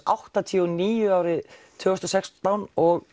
áttatíu og níu árið tvö þúsund og sextán og